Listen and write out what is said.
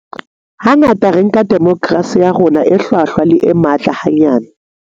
Hangata re nka demokerasi ya rona e hlwahlwa le e matla hanyane.